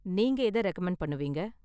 நீங்க எத ரெகமண்ட் பண்ணுவீங்க?